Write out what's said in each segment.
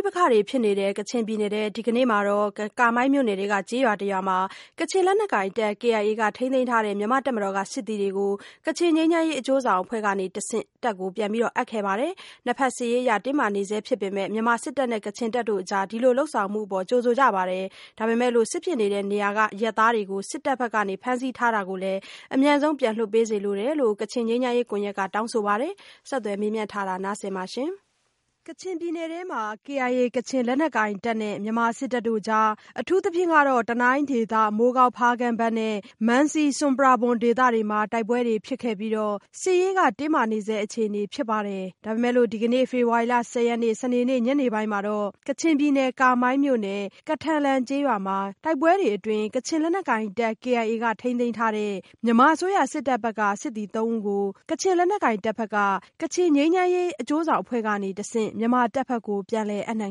ိပက္ခတွေဖြစ်နေတဲ့ ကချင်ပြည်နယ်ထဲမှာ ဒီကနေ့မှာတော့ ကာမိုင်းမြို့နယ်ထဲက ကျေးရွာတရွာမှာ ကချင်လက်နက်ကိုင်တပ် KIA ကထိန်းသိမ်းထားတဲ့ မြန်မာ့တပ်မတော်က စစ်သည်တွေကို ကချင်ငြိမ်းချမ်းရေး အကျိုးဆောင်အဖွဲ့ကနေ တဆင့်ပြန်အပ်ခဲ့ပါတယ်။ နှစ်ဘက်စစ်ရေးအရ တင်းမာနေဆဲဖြစ်ပေမဲ့ မြန်မာစစ်တပ်နဲ့ကချင်တပ်ကြား အခုလိုလုပ်ဆောင်ချက်အပေါ် ကြိုဆိုပေမဲ့လို့ စစ်ဖြစ်နေတဲ့ နေရာတွေက အရပ်သားတွေကို စစ်တပ်ဘက်က ဖမ်းဆီးထားတာတွေကိုလည်း အမြန်ဆုံးပြန်လွှတ်ပေးစေလိုတယ်လို့ ကချင်ငြိမ်းချမ်းရေး ကွန်ရက်ဘက်က တောင်းဆိုပါတယ်။ မဆုမွန် ဆက်သွယ်မေးမြန်းထားပါတယ်။ ကချင်ပြည်နယ် KIA ကချင်လက်နက်ကိုင်တပ်နဲ့ မြန်မာစစ်တပ်တို့ကြား အထူးသဖြင့် တနိုင်းဒေသ၊ မိုးကောင်း၊ ဖားကန့်ဘက်နဲ့ မံစီ ဆွမ်ပရာဘွမ်ဒေသတွေမှာ တိုက်ပွဲတွေ ဖြစ်ခဲ့ပြီး စစ်ရေးက တင်းမာနေဆဲအခြေအနေမှာ ဒီကနေ့ ဖေဖော်ဝါရီလ ၁၀ရက်နေ့ စနေနေ့ညနေပိုင်းမှာတော့ ကချင်ပြည်နယ် ကာမိုင်းမြို့နယ် ကထန်လံကျေးရွာမှာ တိုက်ပွဲအတွင်း ကချင်လက်နက်ကိုင်တပ် KIA က ထိန်းသိမ်းထားတဲ့ မြန်မာအစိုးရ စစ်တပ်ဘက်က စစ်သည်သုံးဦးကို ကချင်လက်နက်ကိုင်တပ်ဘက်က ကချင်ငြိမ်းချမ်းရေး အကျိုးဆောင်အဖွဲ့ကတဆင့် မြန်မာတပ်ဘက်ကို ပြန်လည်အပ်နှံ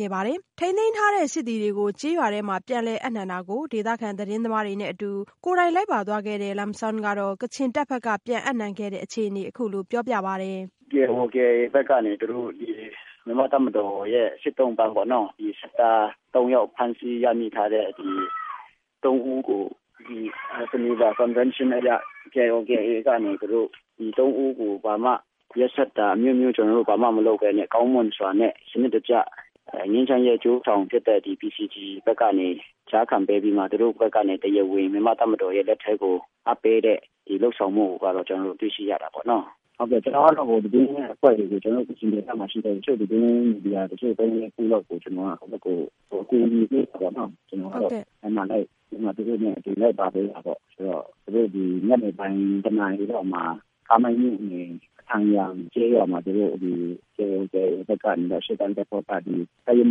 ခဲ့ပါတယ်။ ကထန်လံကျေးရွာထဲမှာပဲထိန်းသိမ်းထားတဲ့ စစ်သည်တွေကို ပြန်လည်အပ်နှံတာကို ဒေသခံသတင်းသမားတွေနဲ့အတူ ကိုယ်တိုင်လိုက်ပါသွားခဲ့တဲ့ Lum Zawng က ကချင်တပ်ဘက်က ပြန်အပ်နှံခဲ့တဲ့အခြေအနေကို အခုလိုပြောပြပါတယ်။ “KIO/KIA ဘက်ကနေ ၊ သူတို့ မြန်မာ့တပ်မတော်ရဲ့ စစ်သုံ့ပန်း ၊ ဖမ်းဆီးရမိထားတဲ့ စစ်သား ၃ ဦးကို ဂျနီဗာသဘောတူစာချုပ်အရ ၊ KIO/KIA က ဒီ ၃ ဦးကို ဘာမှရက်စက်တာမျိုးမလုပ်ဘဲနဲ့၊ ကောင်းမွန်စွာ နဲ့ စနစ်တကျ၊ ဒီငြိမ်းချမ်းရေးအကျိုးဆောင်ဖြစ်တဲ့ PCG ဘက်ကကနေ ကြားခံပေးပြီးမှ ၊ သူတို့ဘက်ကနေ တရားဝင် မြန်မာ့တပ်မတော်ရဲ့ လက်ထဲကိုအပ်ပေးတဲ့ ဒီလုပ်ဆောင်မှုကို ကျနော်တို့ တွေ့ရှိရတယ်။ ကျနော်ကတော့ ကချင်ဒေသမှာရှိတဲ့ တချို့သတင်းမီဒီယာ ၃ ၊ ၄ ဖွဲ့လောက်ကို ကျနော်က အကူအညီပေးပြီး သူတို့နဲ့ လိုက်ပါပေးတာပေါ့။ သူတို့ ၁ နာရီလောက်မှာ ကာမိုင်းမြို့နယ်မှာ KIO/KIA ဘက်က ရှေ့တန်းတပ်ဖွဲ့က တပ်ရင်း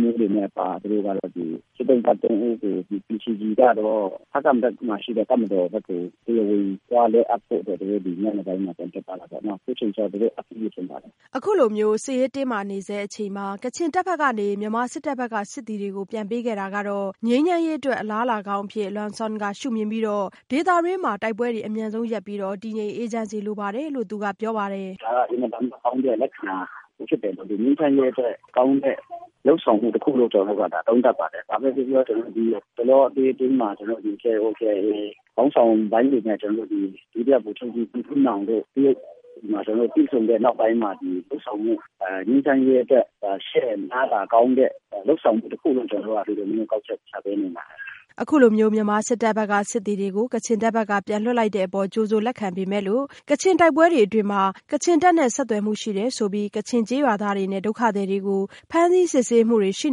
မှူးတွေနဲ့ပါ စစ်သုံ့ပန်း ၃ ဦးကို PCG ကတော့ ဖားကန့်ဘက်မှာရှိတဲ့ တပ်မတော်ဘက်ကို တရားဝင်သွားလွှဲအပ်ဖို့အတွက် သူတို့ ဒီညနေပိုင်းမှာ ထွက်သွားတာပေါ့နော်။ အခုချိန်မှာတော့ အပ်ပြီးပြီလို့ထင်ပါတယ်။” အခုလို စစ်ရေးတင်းမာနေဆဲအချိန်မှာ ကချင်တပ်ဘက်ကနေ မြန်မာစစ်တပ်ဘက်က စစ်သည်တွေကို ပြန်ပေးခဲ့တာဟာ ငြိမ်းချမ်းရေးအတွက် အလားအလာကောင်းတရပ်အဖြစ်Lum Zawng က ရှု့မြင်ပြီး ဒေသတွင်း တိုက်ပွဲတွေ အမြန်ဆုံး ရပ်ပြီး တည်ငြိမ်အေးချမ်းစေလိုပါတယ်လို့ သူကပြောပါတယ်။ “ဒါက အင်မတန်မှကောင်းတဲ့လက္ခဏာ၊ ငြိမ်းချမ်းရေးအတွက် ကောင်းတဲ့လုပ်ဆောင်မှု တခုလို့ ကျနော်တို့ သုံးသပ်ပါတယ်။ ဘာပဲပြောပြော၊ ဒီအတောအတွင်းမှာ KIO/KIA ခေါင်းဆောင်ပိုင်းတွေနဲ့ ဒုတိယဗိုလ်ချုပ်ကြီး ထွန်းထွန်းနောင်တို့ တရုတ်နိုင်ငံမှာ တွေ့ဆုံတဲ့နောက်ပိုင်းမှာ ငြိမ်းချမ်းရေးအတွက် ရှေ့အလားအလာကောင်းတဲ့ လုပ်ဆောင်မှု တခုလို့ ကျနော်တို့က ကောက်ချက်ချပါတယ်။” အခုလို မြန်မာစစ်တပ်ဘက်က စစ်သည်တွေကို ကချင်တပ်ဘက်က ပြန်လွှတ်လိုက်တဲ့ အပေါ် ကြိုဆိုလက်ခံပေမဲ့လို့ ကချင်တိုက်ပွဲတွေအတွင်း ကချင်တပ်နဲ့ ဆက်သွယ်မှုရှိတယ် ဆိုပြီး၊ ကချင်ကျေးရွာသားတွေနဲ့ ဒုက္ခသည်တွေကို ဖမ်းဆီးစစ်ဆေးမှုတွေ ရှိ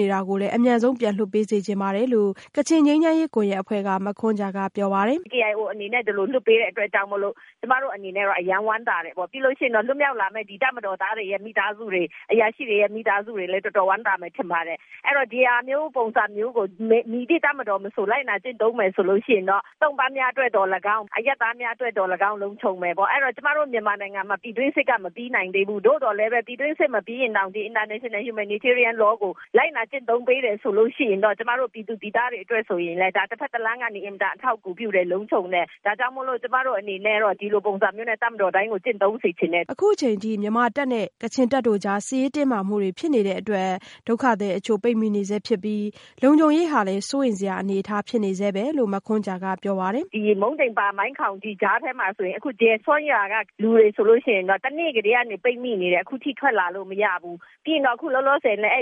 နေတာတွေ ကိုလည်း အမြန်ဆုံး ပြန်လွှတ်ပေးစေချင်ပါတယ်လို့ ကချင်ငြိမ်းချမ်းရေးကွန်ရက်အဖွဲ့က မခွန်ဂျာကပြောပါတယ်။ “KIO အနေနဲ့ ဒီလိုလွှတ်ပေးတဲ့အတွက်ကြောင့်မို့လို့ ၊ ကျမတို့အနေနဲ့တော့ အရမ်းဝမ်းသာတယ်။ ပြီးလို့ရှိရင်တော့ လွတ်မြောက်လာမယ့် တပ်မတော်သားတွေရဲ့ မိသားစုတွေ၊ အရာရှိတွေရဲ့ မိသားစုတွေလည်း တော်တော်ဝမ်းသာမယ်လို့ ထင်ပါတယ်။ အဲဒီတော့ ဒီဟာမျိုးပုံစံမျိုးကို၊ မည်သည့်တပ်မတော်မဆိုလိုက်နာကျင့်သုံးမယ်ဆိုလို့ရှိရင်တော့ ၊ သုံ့ပန်းများအတွက် သော်လည်းကောင်း၊ အရပ်သားများအတွက်တော့သော်လည်းကောင်း၊ လုံခြုံမယ်၊ အဲဒီတော့ ကျမတို့ မြန်မာနိုင်ငံမှာ ပြည်တွင်းစစ်ကမပြီးနိုင်သေးဘူး။ သို့သော်လည်းပဲ၊ ဒီပြည်တွင်းစစ်မပြီးရင်တောင်၊ ဒီ International Humanitarian Law ကို လိုက်နာ ကျင့်သုံးပေးတယ်ဆိုလိုရှိလျှင်၊ ကျမတို့ ပြည်သူပြည်သားတွေအတွက်ကို တဘက်တလမ်းကနေ အထောက်အကူပြုတယ်၊ လုံခြုံတယ်။ ဒါကြောင့်မို့လို့ ကျမတို့အနေနဲ့တော့ ဒီလိုပုံစံမျိုးနဲ့ တပ်မတော်တိုင်းကို ကျင့်သုံးစေချင်တယ်။” အခုအချိန်အထိ ကချင်တပ်နဲ့ မြန်မာတပ်ကြား စစ်ရေးတင်းမာမှုတွေဖြစ်နေတဲ့အတွက် ဒုက္ခသည်အချို့ ပိတ်မိနေဆဲဖြစ်ပြီး လုံခြုံရေးဟာ စိုးရိမ်နေရဆဲအခြေအနေ ဖြစ်တယ်လို့ မခွန်ဂျာကပြောပါတယ်။ “ဒီ မုံဒိန်ပါ နဲ့ မိုင်းခေါင်ကြားထဲမှာဆိုရင်၊ အခုဒီရွာကလူတွေဆိုရင် တနေ့ကတည်းက ပိတ်မိနေတယ်။ အခုထိထွက်လာလို့မရဘူး။ ပြီးရင် အခုလောလောဆယ်လည်း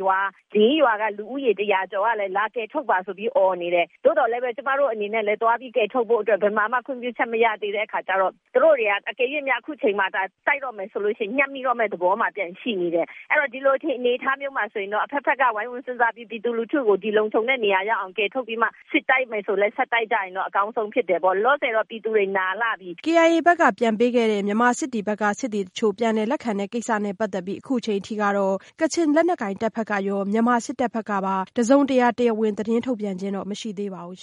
ရွာ ၄ ရွာက လူဦးရေ တရာကျော်ကလည်း လာကယ်ထုတ်ပါဆိုပြီး အော်နေတယ်။ သို့သော်လည်းပဲ ၊ ကျမတို့အနေနဲ့ကလည်း သွားပြီးကယ်ထုတ်ဖို့အတွက် ဘယ်မှာမှ ခွင့်ပြုချက်မရသေးတဲ့အခါကျတော့၊ သူတို့တွေက အကယ်၍များ၊ တိုက်တော့မယ် ဆိုလိုရှိလျှင်၊ ညပ်မယ်သဘောမှာပြန်ရှိနေတယ်။ အဲဒီတော့ ဒီလိုအနေအထားမျိုးမှာ ဆိုရင်တော့ အဘက်ဘက်က ဝိုင်းဝန်းစဉ်းစားပြီး ပြည်သူလူထုကို လုံခြုံတဲ့နေရာ ရောက်အောင်ကယ်ထုတ်ပြီးမှ၊ စစ်တိုက်မယ်ဆိုလည်း ဆက်တိုက်ကြရင်တော့ အကောင်းဆုံးဖြစ်တယ်။ လောလောဆယ်တော့ ပြည်သူတွေနားလှပြီ။” ဒီကနေ့ညနေပိုင်း မြန်မာစစ်တပ်ဘက်က စစ်သည်တချို့ ပြန်လည်လက်ခံတဲ့ ကိစ္စနဲ့ပတ်သက်ပြီး အခုချိန်အထိတော့ ကချင်လက်နက်ကိုင်တပ်ဘက်ရော မြန်မာစစ်တပ်ဘက်ပါ တစုံတရာ တရားဝင် သတင်းထုတ်ပြန်ခြင်းမရှိသေးဘူး။